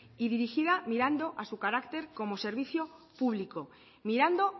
y dirigida mirando a su carácter como servicio público mirando